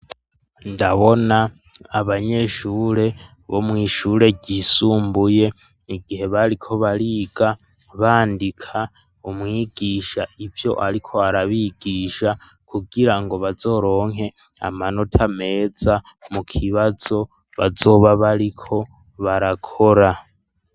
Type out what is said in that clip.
Ndabona abanyeshure bo mw'ishure ryisumbuye, igihe bariko bariga bandika umwigisha ivyo ariko arabigisha, kugira ngo bazoronke amanota meza mu kibazo bazoba bariko barakora.